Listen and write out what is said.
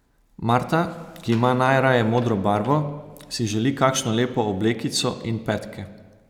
Marta, ki ima najraje modro barvo, si želi kakšno lepo oblekico in petke.